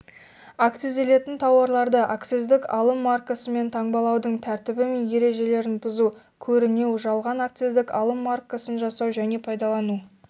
акцизделетін тауарларды акциздік алым маркасымен таңбалаудың тәртібі мен ережелерін бұзу көрінеу жалған акциздік алым маркасын жасау және пайдалану